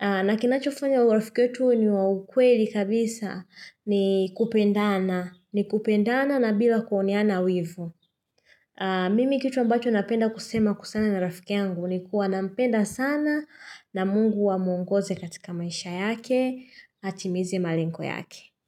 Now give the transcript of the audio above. na kinachofanya urafiki wetu uwe ni wa kweli kabisa ni kupendana ni kupendana na bila kuoneana wivu mimi kitu ambacho napenda kusema kwasana na rafiki yangu Nikuwa na mpenda sana na mungu amwongoze katika maisha yake atimize malengo yake.